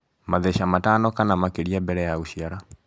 Matheca Matano kana makĩria mbele ya gũciara